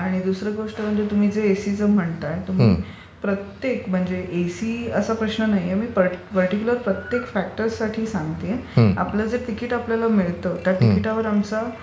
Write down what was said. आणि दुसरी गोष्ट म्हणजे तुम्ही जे एसिचे म्हणताय प्रत्येक म्हणजे एसी असं प्रश्न नाहीये. प्रत्येक पर्टीक्युलर फॅक्टरसाठी सांगते. आपलं जे टिकिट आपल्याला मिळते त्या टिकिटवर आमचा